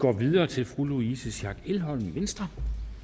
går videre til fru louise schack elholm venstre